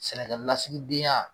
Sɛnɛkɛlasigidenya